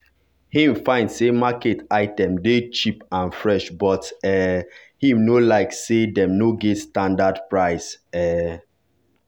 him find say market item dey cheap and fresh but um him no like say dem no get standard price um